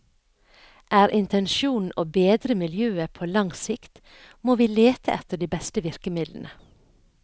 Er intensjonen å bedre miljøet på lang sikt, må vi lete etter de beste virkemidlene.